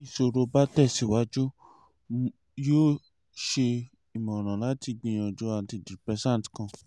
ti iṣoro ba tẹsiwaju mo um yoo ṣe imọran lati gbiyanju antidepressant kan